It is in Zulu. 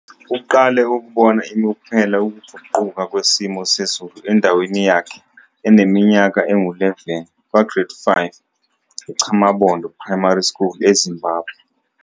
Uqale ukubona imiphumela yokuguquka kwesimo sezulu endaweni yakhe eneminyaka engu-11 kwaGrade 5 eChamabondo Primary School eZimbabwe.